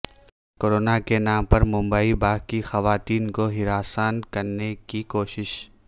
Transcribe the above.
کوروناکے نام پر ممبئی باغ کی خواتین کو ہراساں کرنےکی کوشش